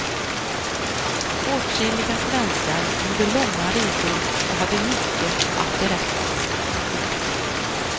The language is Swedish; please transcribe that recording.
Åtskilliga svenskar gjorde långa resor och hade mycket att berätta. punkt